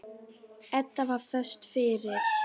Edda var föst fyrir.